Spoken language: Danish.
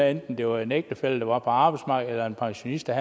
enten det var en ægtefælle der var på arbejdsmarkedet eller en pensionist der